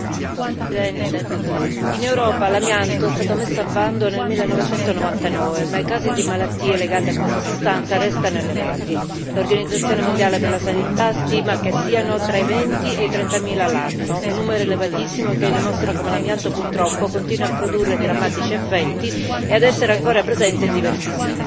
Signor Presidente, onorevoli colleghi, in Europa l'amianto è stato messo al bando nel 1999, ma i casi di malattie legate a questa sostanza restano elevati. L'Organizzazione mondiale per la sanità stima che siano tra i venti e i trentamila l'anno, numero elevatissimo che dimostra come l'amianto purtroppo continua a produrre drammatici effetti e a essere ancora presente in diversi siti.